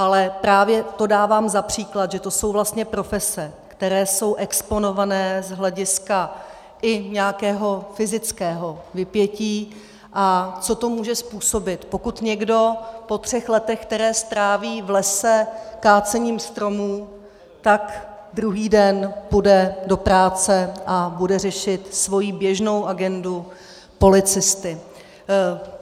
Ale právě to dávám za příklad, že to jsou vlastně profese, které jsou exponované z hlediska i nějakého fyzického vypětí, a co to může způsobit, pokud někdo po třech letech (?), která stráví v lese kácením stromů, tak druhý den půjde do práce a bude řešit svoji běžnou agendu policisty.